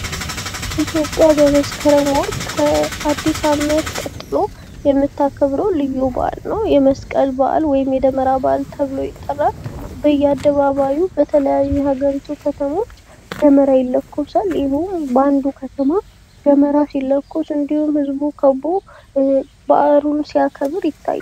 ኢትዮጵያ በመስከረም ወር ከአድስ ዓመት ቀጥሎ የምታከብረው ልዩ በዓል ነው። የመስቀል ወይም የደመራ በዓል ይባላል። በየአደባባዩ በተለያዩ የሀገሪቱ ከተሞች ደመራ ይለኮሳል።